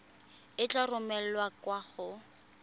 e tla romelwa kwa go